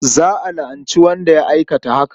Za a la'anci wanda ya aikata haka.